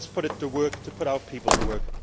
Let us put it to work to put our people to work.